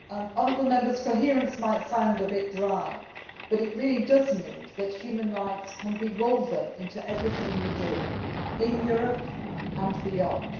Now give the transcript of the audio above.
Honourable members, coherence' might sound dry, but this really does mean that human rights can be woven into everything we do, in Europe and beyond.